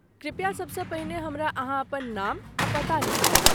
कृपया सबसँ पहिने हमरा अहाँ अपन नाम आ पता लिखाउ।